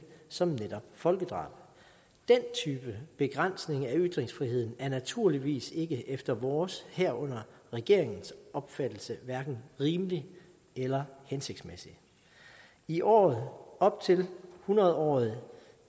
som netop folkedrab den type begrænsninger i ytringsfriheden er naturligvis ikke efter vores herunder regeringens opfattelse rimelige eller hensigtsmæssige i året op til hundrede året